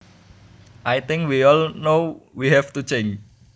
I think we all know we have to change